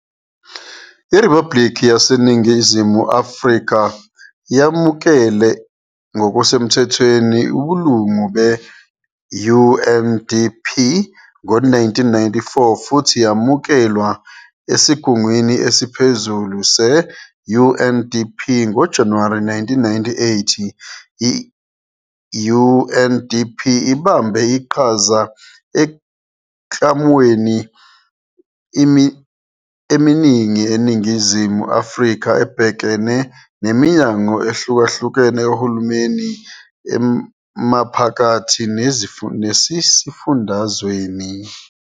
IRiphabhuliki yaseNingizimu Afrika yamukela ngokusemthethweni ubulungu be-UNDP ngo-1994 futhi yamukelwa esigungwini esiphezulu se-UNDP ngoJanuwari 1998. I-UNDP ibambe iqhaza emiklamweni eminingi eNingizimu Afrika ebhekene neminyango ehlukahlukene kahulumeni emaphakathi nasesifundazweni.